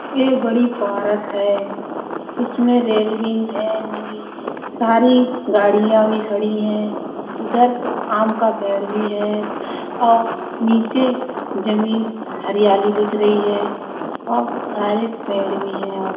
ये बड़ी पारक है उसमें रेल्विंग है नीली सारी गाड़िया भी खड़ी है उधर आम का पेड़ भी है और नीचे जमीन हरियाली दिख रही है। और बहुत सारे पेड़ भी है। और --